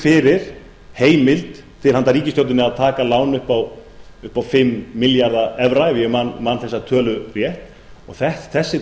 fyrir heimild til handa ríkisstjórninni að taka lán upp á fimm milljarða evra ef ég man þessa tölu rétt og þessi